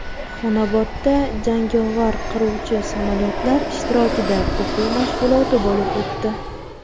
Xonobodda jangovar qiruvchi samolyotlar ishtirokida o‘quv mashg‘uloti bo‘lib o‘tdi .